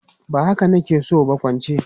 Ba haka na ke so ba, kwance!